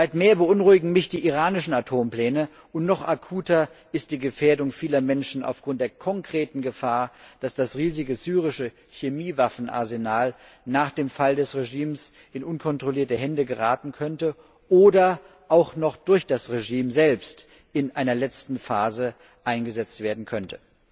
Weit mehr beunruhigen mich die iranischen Atompläne, und noch akuter ist die Gefährdung vieler Menschen aufgrund der konkreten Gefahr, dass das riesige syrische Chemiewaffenarsenal nach dem Fall des Regimes in unkontrollierte Hände geraten könnte oder auch noch durch das Regime selbst in einer letzten Phase eingesetzt werden könnte.